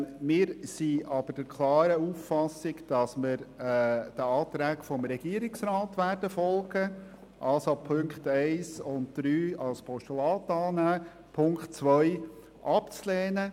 Wir sind aber klar der Auffassung, dass wir den Anträgen des Regierungsrates folgen werden, dass wir also die Punkte 1 und 3 als Postulat annehmen, Punkt 2 ablehnen.